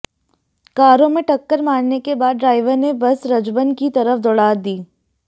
कारों में टक्कर मारने के बाद ड्राइवर ने बस रजबन की तरफ दौड़ा दी